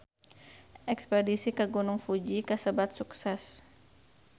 Espedisi ka Gunung Fuji kasebat sukses